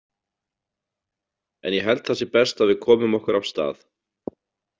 En ég held það sé best að við komum okkur af stað